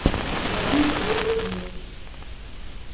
за вами придут другие